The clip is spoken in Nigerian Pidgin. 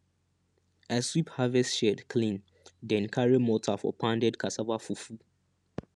i sweep harvest shed clean then carry mortar for pounded cassava fufu